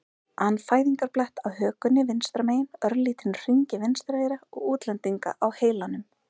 an fæðingarblett á hökunni vinstra megin, örlítinn hring í vinstra eyra og útlendinga á heilanum.